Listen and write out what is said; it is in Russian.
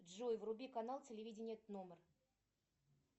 джой вруби канал телевидения тномер